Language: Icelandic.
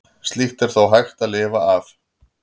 Slíkt er þó hægt að lifa af.